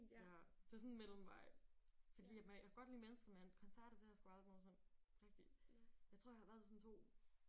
Ja. Det er sådan en mellemvej. Fordi jeg at kan godt lide mennesker men koncerter det har jeg sgu aldrig nogensinde rigtig. Jeg tror jeg har været til sådan to